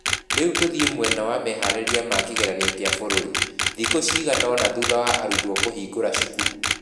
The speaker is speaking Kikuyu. Rĩu tũthiĩ mwena wa meharĩria ma kĩgeranio kĩa bũrũri, thukũ cigana ũna thutha wa arutwo kũhingũra cukuru.